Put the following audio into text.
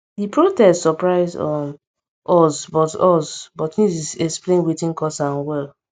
di protest surprise um us but us but news explain wetin cause am well